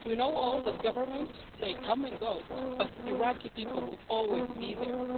We know all the governments they come and go but the Iraqi people will always be there.